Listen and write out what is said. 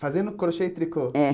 Fazendo crochê e tricô? É